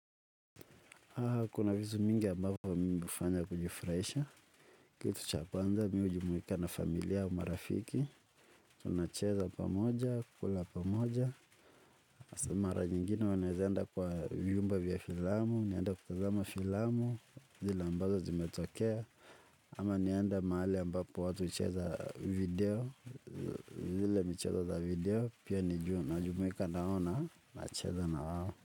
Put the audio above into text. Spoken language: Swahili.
Kuna vitu mingi ambavyo mimi hufanya kujifurahisha. Kitu cha kwanza mimi hujumuika na familia au marafiki. Tunacheza pamoja, kukula pamoja. Kwa sababu mara nyingine wanawezaenda kwa vyumba vya filamu, nianda kutazama filamu, zile ambazo zimetokea. Ama nianda mahali ambapo watu hucheza video, zile michezo za video, pia nijua na jumuikanao na nacheza na wao.